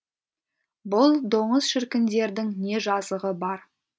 бұл доңыз шіркіндердің не жазығы бар